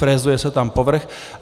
Frézuje se tam povrch.